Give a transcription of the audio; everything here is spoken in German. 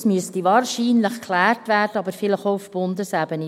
Das müsste wahrscheinlich geklärt werden, aber vielleicht auch auf Bundesebene.